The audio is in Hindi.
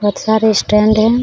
बहुत सारे स्टैंड है।